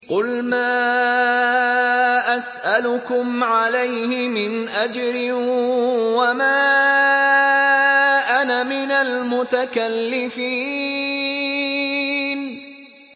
قُلْ مَا أَسْأَلُكُمْ عَلَيْهِ مِنْ أَجْرٍ وَمَا أَنَا مِنَ الْمُتَكَلِّفِينَ